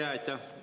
Aitäh!